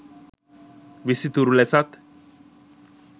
විසිතුරු ලෙසත්